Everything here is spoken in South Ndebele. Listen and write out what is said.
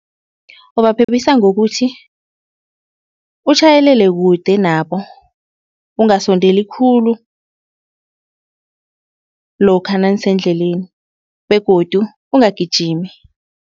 Ubaphephisa ngokuthi utjhayelele kude nabo ungasondeli khulu lokha nanisendleleni begodu ungagijimi.